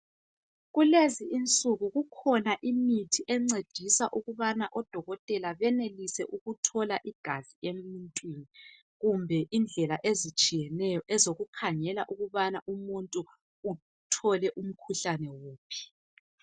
Kulezi insuku kukhona imithi encedisa ukubana odokotela benelise ukuthola igazi emuntwini. Kumbe indlela ezitshiyeneyo ezokukhangela ukubana umuntu uthole umkhuhlane kuphi.